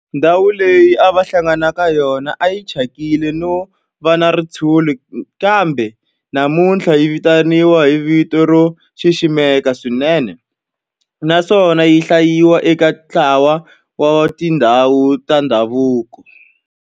Ndhawu leyi a va hlangana ka yona a yi thyakile no va na ritshuri kambe namuntlha yi vitaniwa hi vito ro xiximeka swinene naswona yi hlayiwa eka ntlawa wa tindhawu ta ndhavuko.